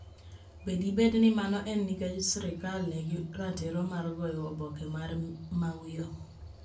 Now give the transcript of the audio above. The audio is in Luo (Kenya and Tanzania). Be dibed ni mano en nikech sirkal nigi ratiro mar goyo oboke mar Mawio?